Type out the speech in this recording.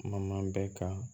Ma bɛɛ ka